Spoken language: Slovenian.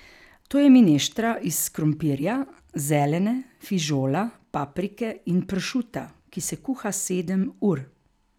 To je mineštra iz krompirja, zelene, fižola, paprike in pršuta, ki se kuha sedem ur.